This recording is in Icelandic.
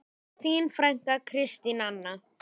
Þín frænka, Kristín Anna.